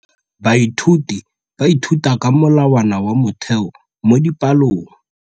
Baithuti ba ithuta ka molawana wa motheo mo dipalong.